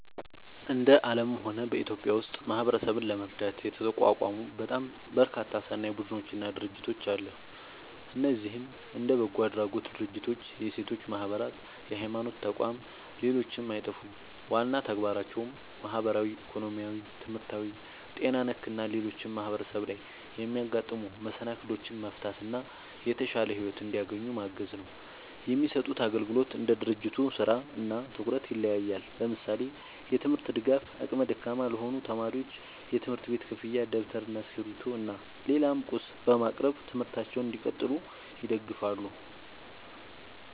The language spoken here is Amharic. እንደ አለምም ሆነ በኢትዮጵያ ውስጥ ማህበረሰብን ለመርዳት የተቋቋሙ በጣም በርካታ ሰናይ ቡድኖች እና ድርጅቶች አለ። እነዚህም እንደ በጎ አድራጎት ድርጅቶች፣ የሴቶች ማህበራት፣ የሀይማኖት ተቋም ሌሎችም አይጠፉም። ዋና ተግባራቸውም ማህበራዊ፣ ኢኮኖሚያዊ፣ ትምህርታዊ፣ ጤና ነክ እና ሌሎችም ማህበረሰብ ላይ የሚያጋጥሙ መሰናክሎችን መፍታት እና የተሻለ ሒወት እንዲያገኙ ማገዝ ነው። የሚሰጡት አግልግሎት እንደ ድርጅቱ ስራ እና ትኩረት ይለያያል። ለምሳሌ፦ የትምርት ድጋፍ አቅመ ደካማ ለሆኑ ተማሪዎች የትምህርት ቤት ክፍያ ደብተር እና እስክሪብቶ እና ሌላም ቁስ በማቅረብ ትምህርታቸውን እንዲቀጥሉ ይደግፋሉ